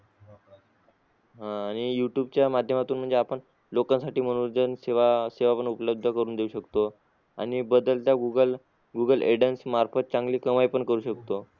आह आणि youtube च्या माध्यमातून म्हणजे आपण लोकांसाठी मनोरंजन सेवा सेवा पण उपलब्ध करून देऊ शकतो आणि बदलत्या google google ad मार्फत चांगली कमाई पण करू शकतो.